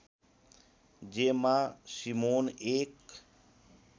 जेमा सिमोन एक